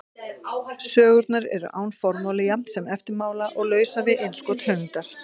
Sögurnar eru án formála jafnt sem eftirmála og lausar við innskot höfundar.